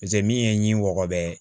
paseke min ye ɲingɔ bɛɛ ye